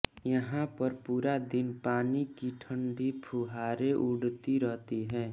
यहां पर पूरा दिन पानी की ठंड़ी फुहारें उड़ती रहती हैं